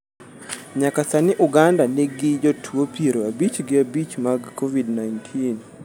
Nyaka sani Uganda nig jotuo piero abich gi abich mag Covid-19.